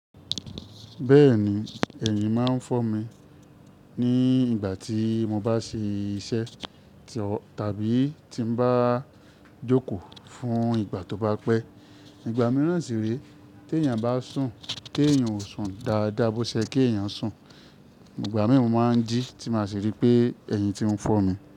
Bẹ́ẹ̀ni, ẹ̀yìn máa ń fọ́ mi ní ìgbà tí mo bá ṣe iṣẹ́ tàbí tí n bá jókòó fún ìgbà tó bá pẹ́. Ìgbà mìíràn sì rèé, téèyàn bá sùn téèyàn ò sùn dáadáa bó ṣe kéèyàn sùn. Ìgbà mìíràn mo máa ń jí tí n máa sì rí pé ẹ̀yìn ti ń fọ́ mi.